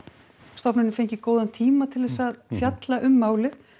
stofnunin fengi góðan tíma til að fjalla um málið